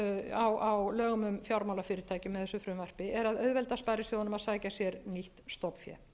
á lögum um fjármálafyrirtæki með þessu frumvarpi er að auðvelda sparisjóðunum að sækja sér nýtt stofnfé